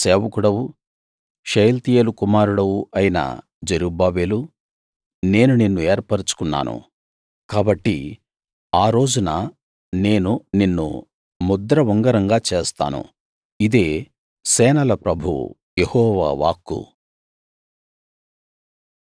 నా సేవకుడవు షయల్తీయేలు కుమారుడవు అయిన జెరుబ్బాబెలూ నేను నిన్ను ఏర్పరచుకున్నాను కాబట్టి ఆ రోజున నేను నిన్ను ముద్ర ఉంగరంగా చేస్తాను ఇదే సేనల ప్రభువు యెహోవా వాక్కు